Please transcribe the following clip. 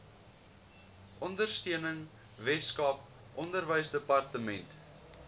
ondersteuning weskaap onderwysdepartement